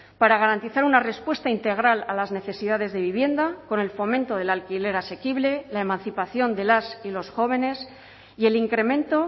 para garantizar una respuesta integral a las necesidades de vivienda con el fomento del alquiler asequible la emancipación de las y los jóvenes y el incremento